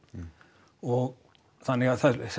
og þannig að það